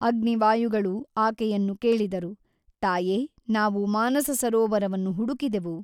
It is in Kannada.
ಅಗ್ನಿ ವಾಯುಗಳು ಆಕೆಯನ್ನು ಕೇಳಿದರು ತಾಯೆ ನಾವು ಮಾನಸಸರೋವರವನ್ನು ಹುಡುಕಿದೆವು.